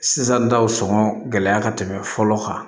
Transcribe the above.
Sisan daw sɔngɔn gɛlɛya ka tɛmɛ fɔlɔ kan